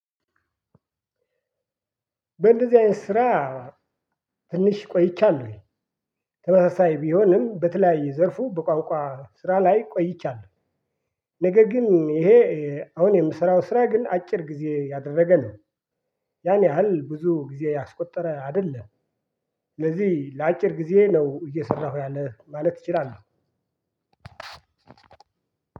በእንደዚህ አይነት ስራ ትንሽ ቆይቻለሁ። ተመሳሳይ ቢሆንም በተለያየ ዘርፉ በቋቋ ስራ ላይ ቆይቻለሁ። ነገር ግን ይሄ አሁን የምሰራው ስራ ግን አጭር ጊዜ ያደረገ ነው። ያን ያህል ብዙ ጊዜ ያስቆጠረ አይደለም። ስለዚህ ለአጭር ጊዜ ነው እየሰራሁ ያለ ማለት እችላለሁ።